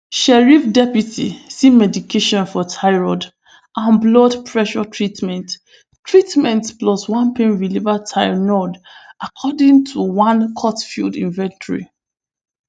sheriff deputy see medication for thyroid and blood pressure treatment treatment plus one pain reliever tylenol according to one courtfiled inventory